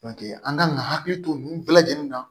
an kan ka hakili to nin bɛɛ lajɛlen na